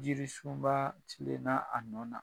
Yiri suma ba tilena a nɔ na.